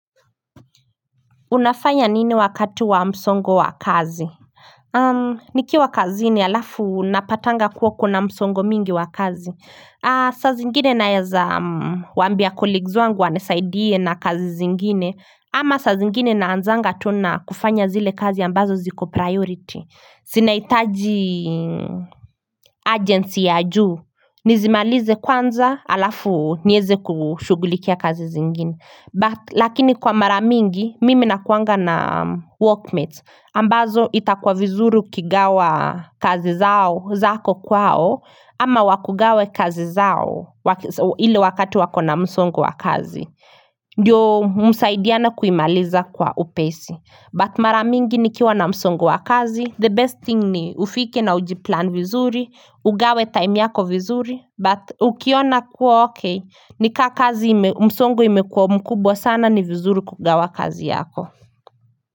Unafaya nini wakatu wa msongo wa kazi? Nikiwa kazi ni alafu napatanga kuwa kuna msongo mingi wa kazi Sazi ngini na yaza wambia colleagues wangu wanisaidie na kazi zingine ama saa zingine naanzanga tuna kufanya zile kazi ambazo ziko priority Sinaitaji urgency ya juu Nizimalize kwanza alafu nieze kushugulikia kazi zingine Lakini kwa maramingi mimi nakuanga na workmates ambazo itakwa vizuru kigawa kazi zao zako kwao ama wakugawe kazi zao ili wakati wakona msongu wa kazi Ndiyo msaidiana kuimaliza kwa upesi But maramingi nikiwa na msongu wa kazi The best thing ni ufike na ujiplan vizuri Ugawe time yako vizuri But ukiona kuwa ok Nika kazi msongo imekuwa mkubwa sana ni vizuru kugawa kazi yako.